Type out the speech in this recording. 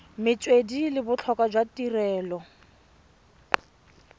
metswedi le botlhokwa jwa tirelo